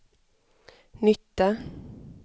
nytta